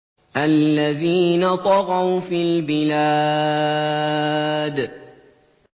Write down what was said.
الَّذِينَ طَغَوْا فِي الْبِلَادِ